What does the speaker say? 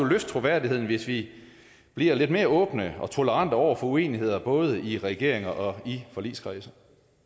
løfte troværdigheden hvis vi bliver lidt mere åbne og tolerante over for uenigheder både i regeringer og i forligskredse